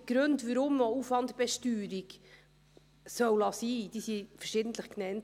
Die Gründe, weshalb man die Aufwandbesteuerung sein lassen soll, wurden verschiedentlich genannt.